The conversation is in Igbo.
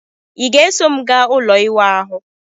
Ị ga-eso m gaa ụlọ iwa ahu?